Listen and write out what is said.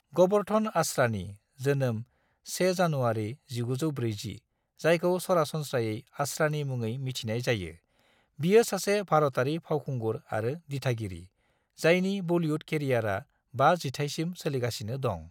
ग'बर्धन आसरानी (जोनोम 1 जानुआरी 1940), जायखौ सरासनस्रायै आसरानी मुङै मिथिनाय जायो, बियो सासे भारतारि फावखुंगुर आरो दिथागिरि, जायनि बलिउद केरियारा बा जिथाइसिम सोलिगासिनो दं।